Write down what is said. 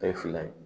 A ye fila ye